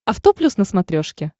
авто плюс на смотрешке